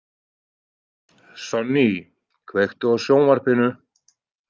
Sonný, kveiktu á sjónvarpinu.